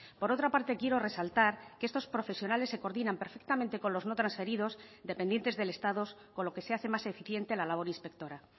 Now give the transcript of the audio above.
por otra parte quiero resaltar que estos profesionales se coordinan perfectamente con los no transferidos dependientes del estado con lo que se hace más eficiente la labor inspectora